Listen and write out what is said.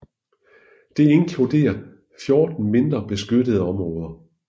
Det inkluderer 14 mindre beskyttede områder